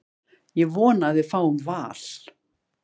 Ég vona að við fáum Val.